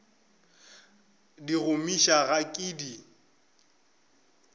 di gomiša ga ke di